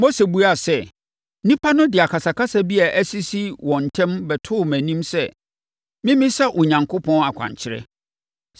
Mose buaa sɛ, “Nnipa no de akasakasa bi a asisi wɔn ntam bɛtoo mʼanim sɛ memmisa Onyankopɔn akwankyerɛ.